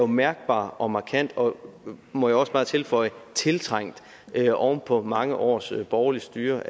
mærkbar og markant og må jeg også bare tilføje tiltrængt oven på mange års borgerligt styre